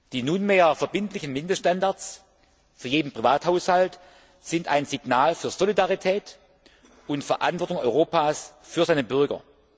Die nunmehr verbindlichen Mindeststandards für jeden Privathaushalt sind ein Signal für Solidarität und für die Verantwortung Europas für seine Bürger.